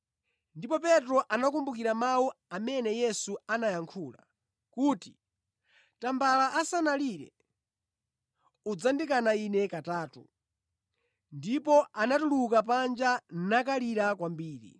Ndipo Petro anakumbukira mawu amene Yesu anayankhula kuti, “Tambala asanalire, udzandikana Ine katatu.” Ndipo anatuluka panja nakalira kwambiri.